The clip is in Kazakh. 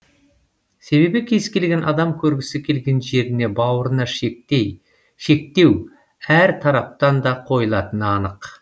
себебі кез келген адам көргісі келген жеріне баруына шектеу әр тараптан да қойылатыны анық